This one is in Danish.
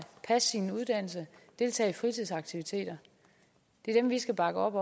passe sin uddannelse deltage i fritidsaktiviteter det er dem vi skal bakke op